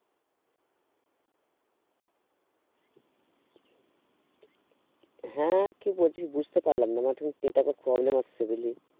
হ্যাঁ কি বলছিস বুঝতে পারলাম না মানে তোর network এ problem আসছে বুঝলি